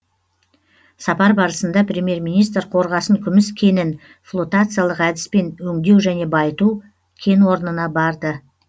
сапар барысында премьер министр қорғасын күміс кенін флотациялық әдіспен өңдеу және байыту кен орнына барды